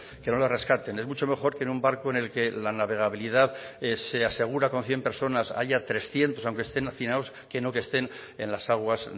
que no les rescaten es mucho mejor que en un barco en el que la navegabilidad se asegura con cien personas haya trescientos aunque estén hacinados que no que estén en las aguas